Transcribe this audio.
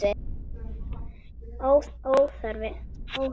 Og óþarft!